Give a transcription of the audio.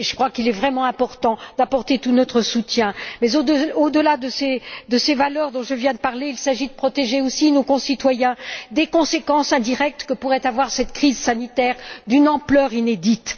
Il est vraiment important d'apporter tout notre soutien, mais au delà de ces valeurs dont je viens de parler, il s'agit de protéger aussi nos concitoyens des conséquences indirectes que pourrait avoir cette crise sanitaire d'une ampleur inédite.